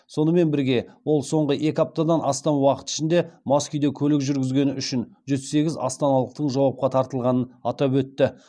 сонымен бірге ол соңғы екі аптадан астам уақыт ішінде мас күйде көлік жүргізгені үшін жүз сегіз астаналықтың жауапқа тартылғанын атап өтті